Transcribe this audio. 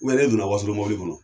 Wali e donna wasolo mɔbili kɔnɔ.